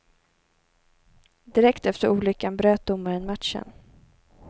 Direkt efter olyckan bröt domaren matchen.